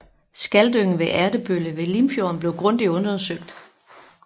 Skaldyngen ved Ertebølle ved Limfjorden blev grundigt undersøgt